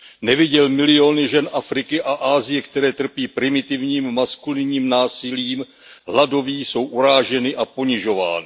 Neviděl miliony žen Afriky a Asie, které trpí primitivním maskulinním násilím, hladoví, jsou uráženy a ponižovány.